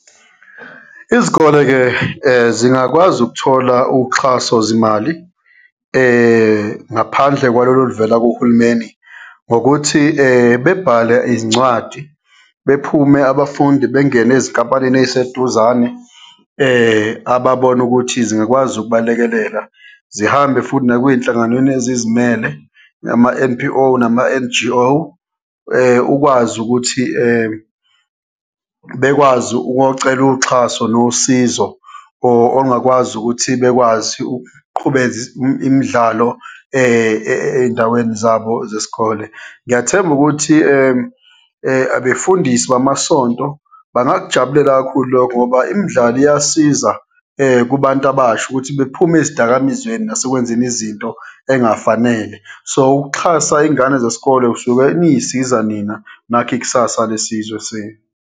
Izikole-ke zingakwazi ukuthola uxhaso zimali, ngaphandle kwalolo oluvela kuhulumeni ngokuthi bebhale izincwadi, bephume abafundi bengene ezinkampanini eyiseduzane ababona ukuthi zingakwazi ukubalekelela, zihambe futhi nakweyinhlanganweni ezizimele, nama-N_P_O, nama-N_G_O ukwazi ukuthi bekwazi ukuyocela uxhaso nosizo ongakwazi ukuthi bekwazi imidlalo eyindaweni zabo zesikole. Ngiyathemba ukuthi abefundisi bamasonto bangakujabulela kakhulu lokho, ngoba imidlalo iyasiza kubantu abasha ukuthi bephume ezidakamizweni nasekwenzeni izinto eyingafanele. So, ukuxhasa iyingane zesikole, suke niyisiza nina nakhe ikusasa lesizwe senu.